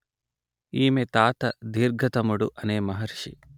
ఈమె తాత దీర్ఘతముడు అనే మహర్షి